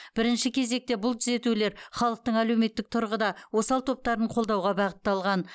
бірінші кезекте бұл түзетулер халықтың әлеуметтік тұрғыда осал топтарын қолдауға бағытталған